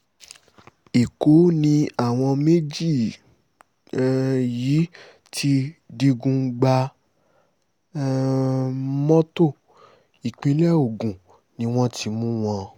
ẹ̀kọ́ làwọn méjì um yìí ti digun gba um mọ́tò ìpínlẹ̀ ogun ni wọ́n ti mú wọn